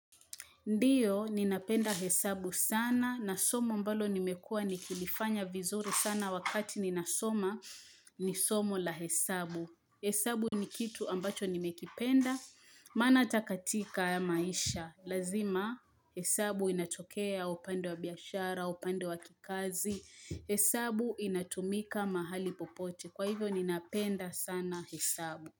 Ndiyo, ninapenda hesabu sana na somo ambalo nimekuwa nikilifanya vizuri sana wakati ninasoma ni somo la hesabu. Hesabu ni kitu ambacho nimekipenda, maana hata katika ya maisha. Lazima, hesabu inatokea upande wa biashara, upande wa kikazi. Hesabu inatumika mahali popote. Kwa hivyo, ninapenda sana hesabu.